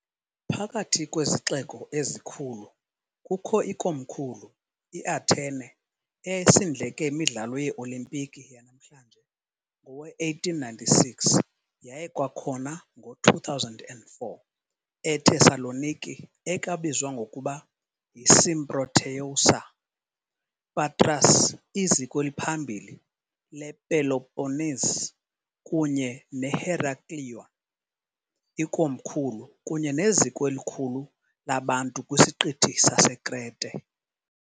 Phakathi kwezixeko ezikhulu kukho ikomkhulu, iAthene, eyayisindleke yeeOlimpiki yanamhlanje ngowe-1896 yaye kwakhona ngo-2004, eThessaloniki, ekwabizwa ngokuba yiSymprōteyousa, Patras, iziko eliphambili lePeloponnese, kunye neHeraklion, ikomkhulu kunye neziko elikhulu labantu kwisiqithi saseKrete.